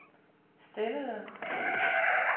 stillede